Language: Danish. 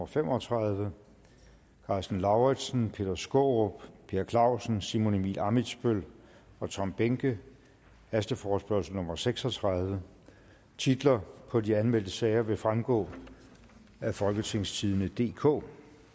fem og tredive karsten lauritzen peter skaarup per clausen simon emil ammitzbøll og tom behnke hasteforespørgsel nummer f seks og tredive titlerne på de anmeldte sager vil fremgå af folketingstidende DK